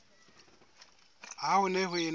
ha ho ne ho ena